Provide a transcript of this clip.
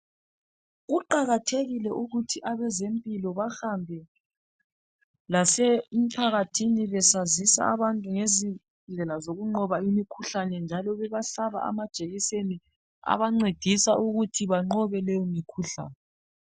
Kuqakathekile ukuthi abezempilakahle behambe esigabeni lasemphakathini besazisa abantu indlela zokunqoba imikhuhlane njalo bebahlaba amajekiseni ebangcedisa ukuthi benqobe leyo mikhuhlane